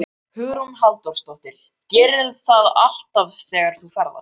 Hugrún Halldórsdóttir: Gerirðu það alltaf þegar þú ferðast?